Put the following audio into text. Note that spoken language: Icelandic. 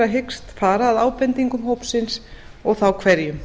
hyggist fara að ábendingum hópsins og þá hverjum